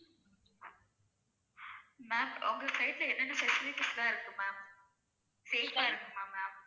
ma'am உங்க side ல என்னென்ன facilities எல்லா இருக்கும் ma'am safe ஆ இருக்குமா ma'am